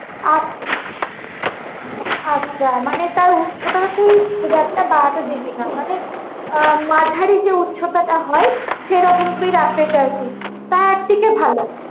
আছ~ আচ্ছা মানে তার উচ্চতা তুই খুব একটা বাড়াতে দিবিনা, মানে আহ মাঝারি যে উচ্চতা তা হয় সেইরকম তু্ই রাখতে চাইছিস তা একদিকে ভালো।